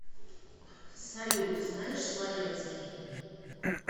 салют знаешь словенский